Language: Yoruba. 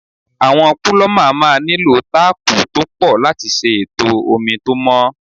Àwọn púlọ́mà máa nílò táápù tó pọ̀ láti ṣe ètò omi tó mọ́.